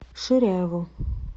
ширяеву